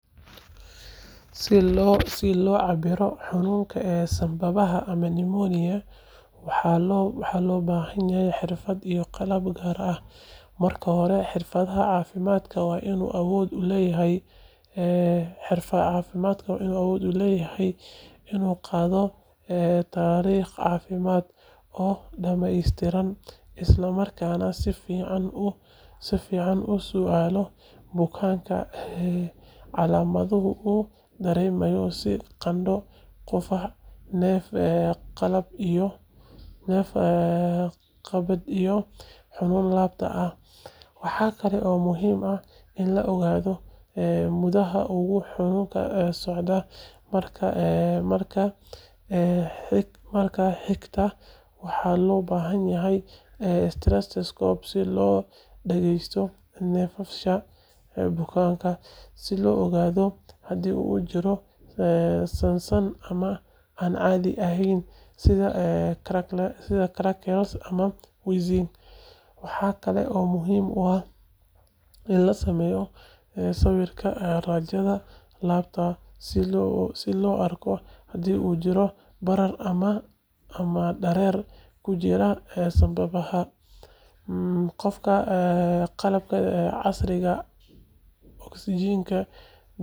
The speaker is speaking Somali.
Si loo cabbiro xanuunka sambabada ama pneumonia, waxaa loo baahan yahay xirfado iyo qalab gaar ah. Marka hore, xirfadlaha caafimaadka waa inuu awood u leeyahay inuu qaado taariikh caafimaad oo dhamaystiran isla markaana si fiican u su’aalo bukaanka calaamadaha uu dareemayo sida qandho, qufac, neef-qabad iyo xanuun laabta ah. Waxaa kale oo muhiim ah in la ogaado muddada uu xanuunku socday. Marka xigta, waxaa loo baahan yahay stethoscope si loo dhageysto neefsashada bukaanka, si loo ogaado hadii uu jiro saansaan aan caadi ahayn sida crackles ama wheezing. Waxaa kale oo muhiim ah in la sameeyo sawirka raajada laabta si loo arko hadii uu jiro barar ama dareere ku jira sambabada. Qalabka cabbira oksijiinta dhiigga.